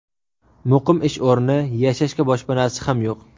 Muqim ish o‘rni, yashashga boshpanasi ham yo‘q.